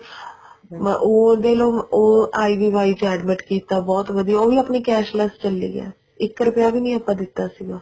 ਉਹ ਦੇਖਲੋ ਉਹ IVI ਚ admit ਕੀਤਾ ਬਹੁਤ ਵਧੀਆ ਉਹ ਵੀ ਆਪਣੀ cashless ਚੱਲੀ ਗਿਆ ਸੀ ਇੱਕ ਰੁਪਇਆ ਵੀ ਨੀ ਆਪਾਂ ਦਿੱਤਾ ਸੀਗਾ